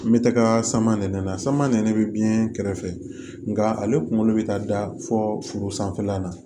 N bɛ taga sama nɛnɛ sama nɛn bɛ biyɛn kɛrɛfɛ nka ale kunkolo bɛ taa da fɔ foro sanfɛlan na